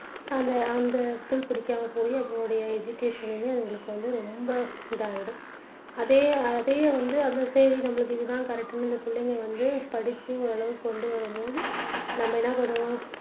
அந்த அந்த school புடிக்காம போயி அதனுடைய education னுமே அதுகளுக்கு வந்து ரொம்ப இதாயிடும் அதே அதே வந்து அது சரி நமக்கு இதுதான் correct னு இந்த பிள்ளைங்க வந்து படிச்சு ஓரளவுக்கு கொண்டு வரும் போது நம்ம என்ன பண்ணுவோம்